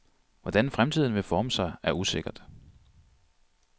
Hvordan fremtiden vil forme sig er usikkert.